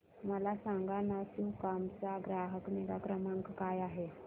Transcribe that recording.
मला सांगाना सुकाम चा ग्राहक निगा क्रमांक काय आहे